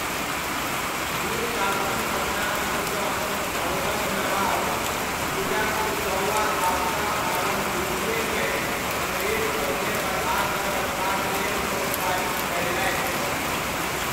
मीर कासिम अपना दिससँ अवधक नवाब शुजा उद दौला आ शाह आलम द्वितीयकेँ अंग्रेज सभकेँ बझा कऽ रखबाक लेल प्रोत्साहित कयलनि।